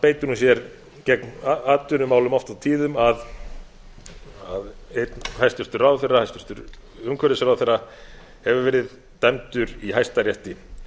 beitir hún sér gegn atvinnumálum oft og tíðum að einn hæstvirtur ráðherra hæstvirtur umhverfisráðherra hefur verið dæmdur í hæstarétti